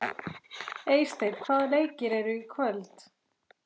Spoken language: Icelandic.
Eysteinn, hvaða leikir eru í kvöld?